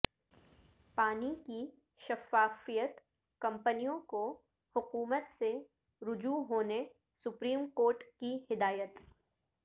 پانی کی شفافیت کمپنیوں کو حکومت سے رجوع ہونے سپریم کورٹ کی ہدایت